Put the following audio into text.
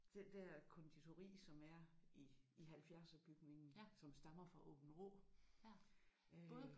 Den der konditori som er i i halvfjerdserbygningen som stammer fra Aabenraa øh